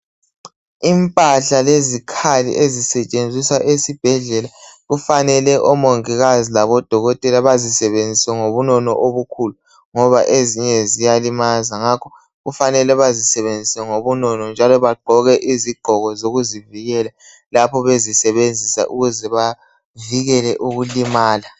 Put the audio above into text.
Impahla lezikhali ezisetshenziswa esibhedlela kufanele omongikazi labodokotela bazisebenzise ngobunono obukhulu ngoba ezinye ziyalimaza ngakho kufanele bazisebenzise ngobunono njalo bagqoke izigqoko zokuzivikela lapho bezisebenzisa ukuze bavikele ukulimala.